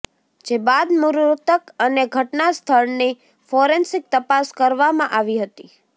જે બાદ મૃતક અને ઘટનાસ્થળની ફોરેન્સિક તપાસ કરવામાં આવી હતી